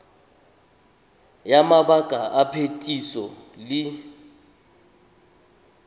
ya mabaka a phetiso le